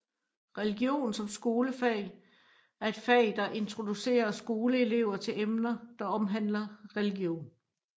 Religion som skolefag er et fag der introducerer skolelever til emner der omhandler religion